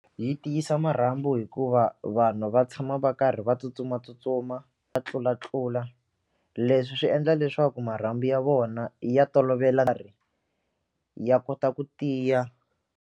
Yi tiyisa marhambu hikuva vanhu va tshama va karhi va tsutsumatsutsuma va tlulatlula leswi swi endla leswaku marhambu ya vona ya tolovela ya kota ku tiya.